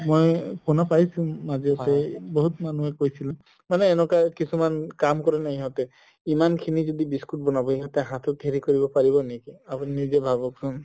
মই শুনা পাইছো মাজতে বহুত মানুহে কৈছিল মানে এনেকুৱা কিছুমান কাম কৰে ন ইহতে ইমান খিনি যদি biscuit বনাব সিহতে হাতত হেৰি কৰিব পাৰিব নেকি আপুনি নিজে ভাবকচোন